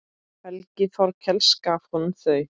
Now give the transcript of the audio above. Helgi Þorkels gaf honum þau.